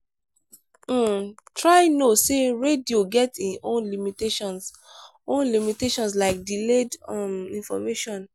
um try know sey radio get im own limitations own limitations like delayed um information